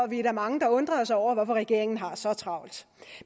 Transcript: vi er mange der undrer os over hvorfor regeringen har så travlt